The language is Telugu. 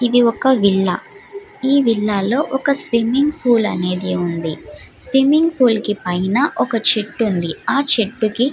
ఇది ఒక విల్లా ఈ విల్లా లో ఒక స్విమ్మింగ్ పూల్ అనేది వుంది స్విమ్మింగ్ పూల్ కి పైన ఒక చెట్టు వుంది. ఆ చెట్టుకి --